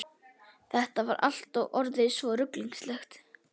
Þetta var allt orðið svo ruglingslegt.